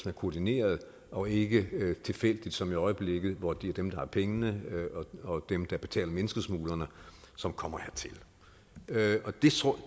er koordineret og ikke tilfældigt som i øjeblikket hvor det er dem der har pengene og dem der betaler menneskesmuglerne som kommer hertil